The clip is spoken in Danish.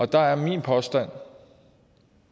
der er min påstand